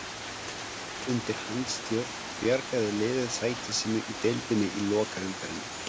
Undir hans stjórn bjargaði liðið sæti sínu í deildinni í lokaumferðinni.